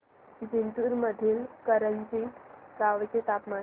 जिंतूर मधील करंजी गावाचे तापमान